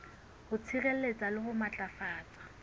ho sireletsa le ho matlafatsa